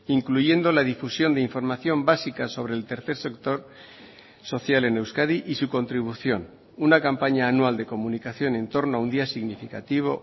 incluyendo la difusión de información básica sobre el tercer sector social en euskadi y su contribución una campaña anual de comunicación en torno a un día significativo